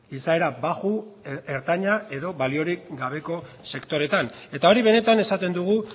izaera baxu ertaina edo baliorik gabeko sektoreetan eta hori benetan esaten dugu